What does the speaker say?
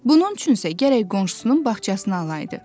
Bunun üçünsə gərək qonşusunun bağçasını alaydı.